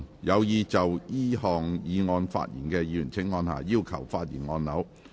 有意就這項議案發言的議員請按下"要求發言"按鈕。